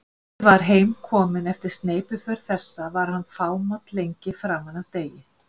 Þegar bóndi var heim kominn eftir sneypuför þessa var hann fámáll lengi framan af degi.